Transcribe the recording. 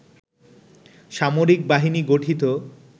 সামরিক বাহিনী গঠিত